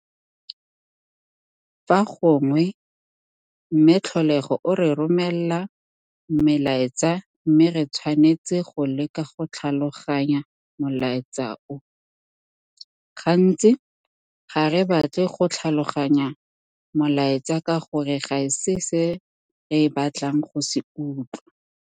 Fa gongwe Mme Tlholego o re romela melaetsa mme re tshwanetse go leka go tlhaloganya molaetsa o. Gantsi, ga re batle go tlhaloganya molaetsa ka gore ga se se re batlang go se utlwa.